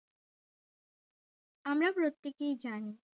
আমরা প্রত্যেকেই জানি